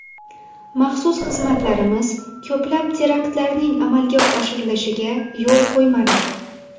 Maxsus xizmatlarimiz ko‘plab teraktlarning amalga oshirilishiga yo‘l qo‘ymadi.